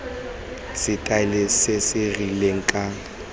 setaele se se rileng ka